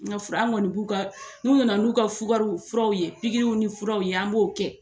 N ka fura an kɔni b'u ka n'u nana n'u ka fukaro furaw ye, anw kɔni b'u pikiriw ni fraw ye an b'o kɛ